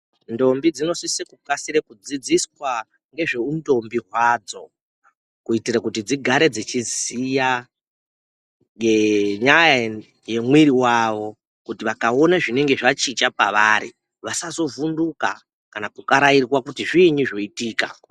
Ndombi dzino sise ku kasire ku dzidziswa ngezve u ndombi hwadzo kuitire kuti dzigare dzichi ziya nge nyaya ye mwiri wavo kuti vakaona zvinenge zva chinja pavarai vasazo vhunduka kana ku karairwa kuti zvinyi zvoitika.